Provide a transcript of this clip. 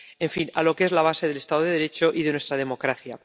en fin, a lo que es la base del Estado de Derecho y de nuestra democracia.